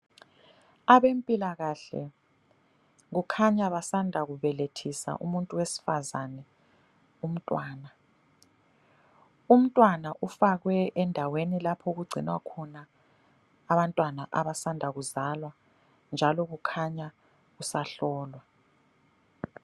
Abempilakahle kukhanya basanda kubelethisa umuntu wesifazane umntwana, umntwana ufakwe endaweni lapho okugcinwa khona abantwana abasanda kuzalwa, njalo kukhanya usahlolwa.